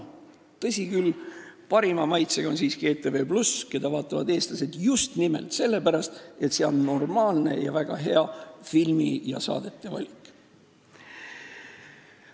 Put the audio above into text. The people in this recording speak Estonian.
Tõsi küll, parima maitsega on siiski ETV+, mida vaatavad eestlased just nimelt selle pärast, et seal on normaalne, isegi väga hea filmide ja saadete valik.